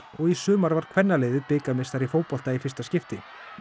og í sumar varð kvennaliðið bikarmeistari í fótbolta í fyrsta skipti